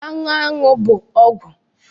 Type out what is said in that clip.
Anụ aṅụ bụ ọgwụ